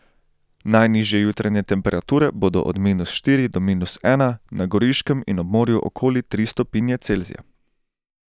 Najnižje jutranje temperature bodo od minus štiri do minus ena, na Goriškem in ob morju okoli tri stopinje Celzija.